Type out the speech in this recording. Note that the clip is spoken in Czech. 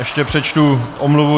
Ještě přečtu omluvu.